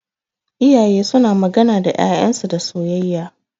Iyaye suna magana da ƴaƴan su da soyayya.